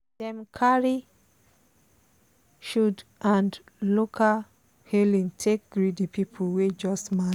dem carry shoud and local hailing take greet the people wey just marry.